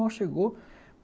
Mal chegou.